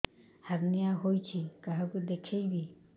hernia ହୋଇଛି କାହାକୁ ଦେଖେଇବି